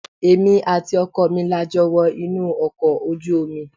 Èmi àti ọkọ mi la jọ wọ inú ọkọ̀ ojú omi.